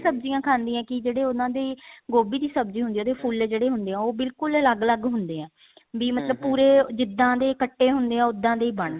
ਸਬਜੀਆ ਖਾਣੀ ਹਾਂ ਕੀ ਜਿਹੜੇ ਉਹਨਾ ਦੀ ਗੋਭੀ ਦੀ ਸਬਜੀ ਹੁੰਦੀ ਹੈ ਉਹਦੇ ਫੁੱਲ ਜਿਹੜੇ ਹੁੰਦੇ ਹੈ ਉਹ ਬਿਲਕੁਲ ਬਿਲਕੁਲ ਅਲੱਗ ਅਲੱਗ ਹੁੰਦੇ ਹੈ ਵੀ ਮਤਲਬ ਜਿੱਡਾਨ ਦੇ ਕੱਟੇ ਹੁੰਦੇ ਹੈ ਉਹਦਾ ਦੇ ਬਣਦੇ